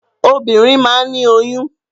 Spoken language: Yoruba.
Obìnrin máa ń ní oyún.